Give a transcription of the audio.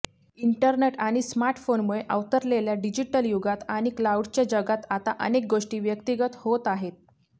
internet आणि स्मार्टफोनमुळे अवतरलेल्या डिजिटल युगात आणि क्लाउडच्या जगात आता अनेक गोष्टी व्यक्तीगत होत आहेत